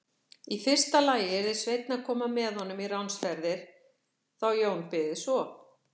Í fyrsta lagi yrði Sveinn að koma með honum í ránsferðir þá Jón byði svo.